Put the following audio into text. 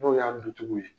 N'o y'a dutigiw ye